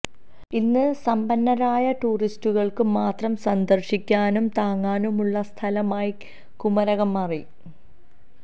ഇന്ന് സമ്പന്നരായ ടൂറിസ്റ്റുകൾക്ക് മാത്രം സന്ദർശിക്കാനും തങ്ങാനുമുള്ള സ്ഥലമായി കുമരകം മാറി